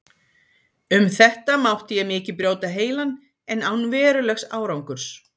Um þetta mátti ég mikið brjóta heilann, en án verulegs árangurs.